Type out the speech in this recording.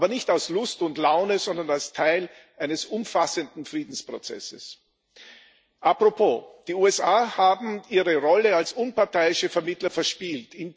Aber nicht aus Lust und Laune, sondern als Teil eines umfassenden Friedensprozesses. Apropos Die USA haben ihre Rolle als unparteiischer Vermittler verspielt.